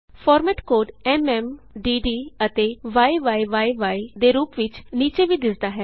format code MM ਡੱਡ ਅਤੇ ਯੀ ਦੇ ਰੂਪ ਵਿਚ ਨੀਚੇ ਵੀ ਦਿੱਸਦਾ ਹੈ